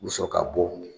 U bi sɔrɔ ka bɔ